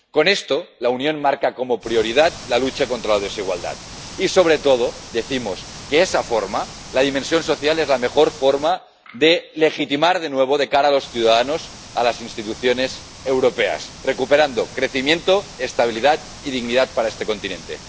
Con esto, la Unión marca como prioridad la lucha contra la desigualdad y, sobre todo, decimos que esa forma, la dimensión social, es la mejor forma de legitimar de nuevo a las instituciones europeas de cara a los ciudadanos, recuperando crecimiento, estabilidad y dignidad para este continente.